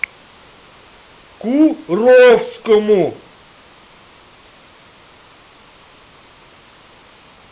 куровскому